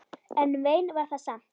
En vein var það samt.